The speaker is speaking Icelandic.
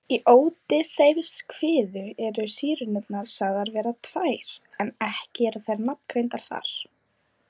Í Ódysseifskviðu eru Sírenurnar sagðar vera tvær en ekki eru þær nafngreindar þar.